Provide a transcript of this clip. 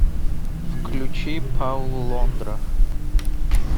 включи пауло лондра